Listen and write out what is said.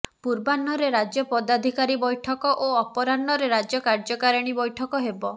ପୂର୍ବାହ୍ନରେ ରାଜ୍ୟ ପଦାଧିକାରୀ ବୈଠକ ଓ ଅପରାହ୍ନରେ ରାଜ୍ୟ କାର୍ଯ୍ୟକାରିଣୀ ବୈଠକ ହେବ